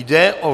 Jde o